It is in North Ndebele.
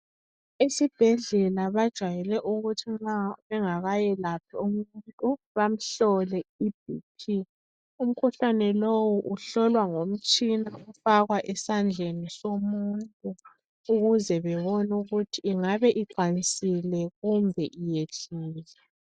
Esibhedlela bajayele ukuthi nxa bengakayelaphi umuntu bamhlole iBp. Umkhuhlane lowu uhlolwa ngomtshina ofakwa esandleni somuntu ukuze bebone ukuthi ingabe iqansile kumbe iyehlile.